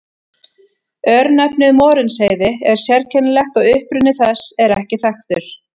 Örnefnið Morinsheiði er sérkennilegt og uppruni þess er ekki þekktur.